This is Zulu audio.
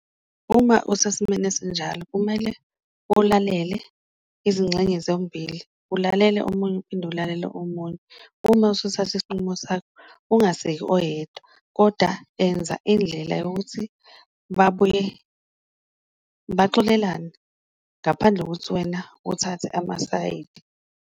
Uma usesimeni esinjalo kumele ulalele izingxenye zombili, ulalele omunye uphinde ulalele omunye uma usuthatha isinqumo sakho, ungaseki oyedwa koda enza indlela yokuthi babuye baxolelane. Ngaphandle kokuthi wena uthathe amasayidi.